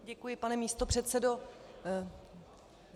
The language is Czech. Děkuji, pane místopředsedo.